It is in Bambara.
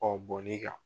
bɔn ne ka